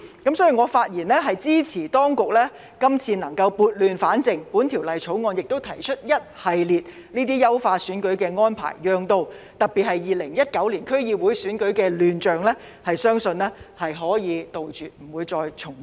所以，我發言支持當局今次撥亂反正，在本條例草案中提出一系列優化選舉的安排，特別是令到2019年區議會選舉的亂象，相信可以杜絕不會重現。